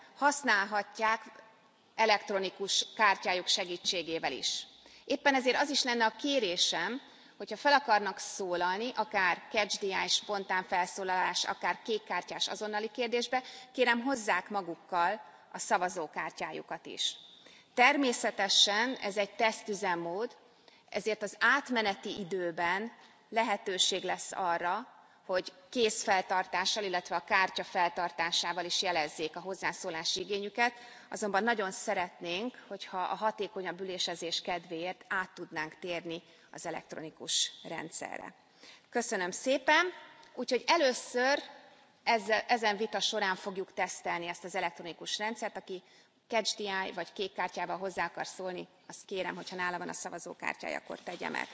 használhatják elektronikus kártyájuk segítségével is. Éppen ezért az is lenne a kérésem, hogy ha fel akarnak szólalni, akár catch the eye spontán felszólalás, akár kékkártyás azonnali kérdésben, kérem, hozzák magukkal a szavazókártyájukat is. Természetesen ez egy teszt üzemmód, ezért az átmeneti időben lehetőség lesz arra, hogy kézfeltartással, illetve a kártya feltartásával is jelezzék a hozzászólási igényüket, azonban nagyon szeretnénk, hogyha a hatékonyabb ülésezés kedvéért át tudnánk térni az elektronikus rendszerre. Köszönöm szépen! Úgyhogy először ezen vita során fogjuk tesztelni ezt az elektronikus rendszert, aki catch the eye vagy kékkártyával hozzá akar szólni, azt kérem, hogy ha nála van a szavazókártyája, akkor